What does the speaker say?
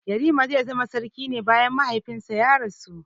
Yarima ya zama sarki ne bayan mahaifinsa ya rasu.